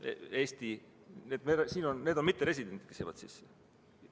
Need on mitteresidendid, kes jääksid sisse.